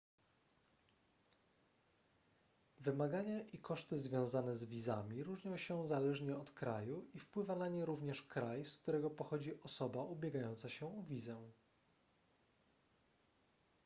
wymagania i koszty związane z wizami różnią się zależnie od kraju i wpływa na nie również kraj z którego pochodzi osoba ubiegająca się o wizę